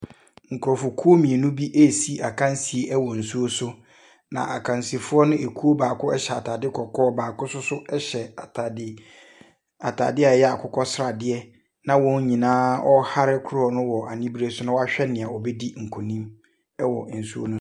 Nkurɔfokuo mmienu bi ɛresi akansie wɔ nsuo so, na akansifoɔ no kuo baako hyɛ ataade kɔkɔɔ, baako nso hyɛ ataade ataadeɛ a ɛyɛ akokɔsradeɛ na wɔn wɔrehare kodoɔ no wɔ aniberɛ so na wɔahwɛ deɛ ɔbɛdi nkonim wɔ nsuo no .